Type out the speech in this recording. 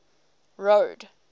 road